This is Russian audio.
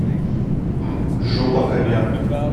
жопа коня